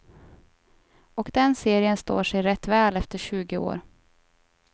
Och den serien står sig rätt väl efter tjugo år.